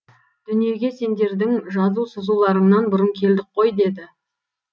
дүниеге сендердің жазу сызуларыңнан бұрын келдік қой деді